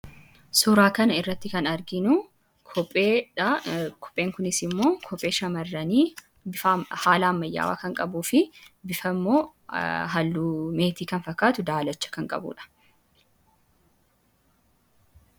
Suuraa kana irratti kan arginu kopeedha. Kopheen kunis immoo kophee shamarranii haala ammayyaawaa kan qabuu fi bifni isaas halluu meetii kan fakkatu daalacha kan qabudha.